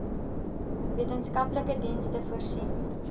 wetenskaplike dienste voorsien